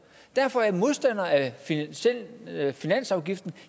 derfor er jeg modstander af af finansafgiften